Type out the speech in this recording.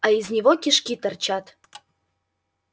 а из него кишки торчат